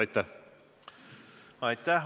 Aitäh!